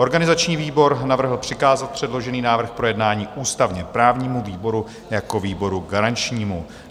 Organizační výbor navrhl přikázat předložený návrh k projednání ústavně-právnímu výboru jako výboru garančnímu.